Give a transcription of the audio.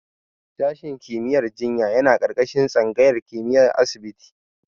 Sashen kimiyyar jinya yana ƙarƙashin tsangayar kimiyyar asibiti.